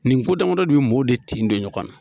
Nin ko damadɔ de be mɔɔw de tin don ɲɔgɔn na.